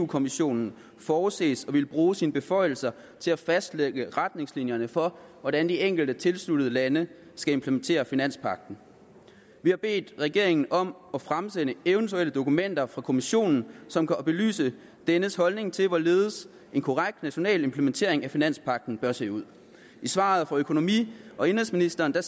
kommissionen forudses at ville bruge sine beføjelser til at fastlægge retningslinjerne for hvordan de enkelte tilsluttede lande skal implementere finanspagten vi har bedt regeringen om at fremsende eventuelle dokumenter fra kommissionen som kan belyse dennes holdning til hvorledes en korrekt national implementering af finanspagten bør se ud i svaret fra økonomi og indenrigsministeren